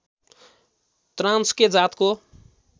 Transkei जातको